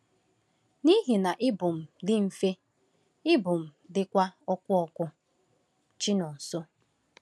“N’ihi na ibu m dị mfe, ibu m dịkwa ọkụ ọkụ.” — Chinonso.